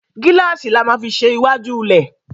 Gíláàsì la má fí ṣe iwájú lẹ.